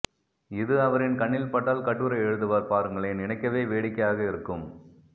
இது அவரின் கண்ணில்பட்டால் கட்டுரை எழுதுவார் பாருங்களேன் நினைக்கவே வேடிக்கையாக இருக்கும்